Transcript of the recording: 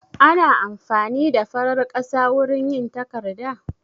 Ana amfani da farar ƙasa wurin yin takarda?